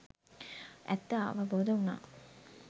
ඇත්ත අවබෝධ වුනා.